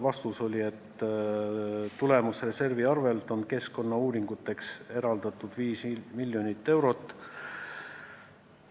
Vastus oli, et tulemusreservist on keskkonnauuringuteks eraldatud 5 miljonit eurot.